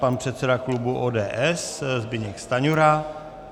Pan předseda klubu ODS Zbyněk Stanjura.